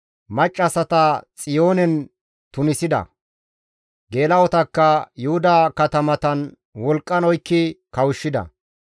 Maccassata Xiyoonen tunisida; geela7otakka Yuhuda katamatan wolqqan oykki kawushshida.